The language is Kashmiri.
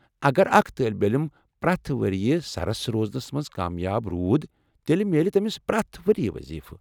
اگر اکھ طٲلب علم پرٛٮ۪تھ ؤرۍ سرس روزنس منز کامیاب روزِ تیٚلہ میلہِ تمِس پرٛٮ۪تھ ؤرِیہ وضیفہٕ ۔